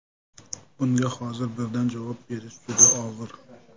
Bunga hozir birdan javob berish juda og‘ir.